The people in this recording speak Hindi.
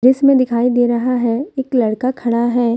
इसमें दिखाई दे रहा है एक लड़का खड़ा है।